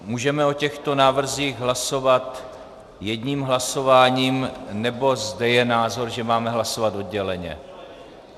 Můžeme o těchto návrzích hlasovat jedním hlasováním, nebo zde je názor, že máme hlasovat odděleně?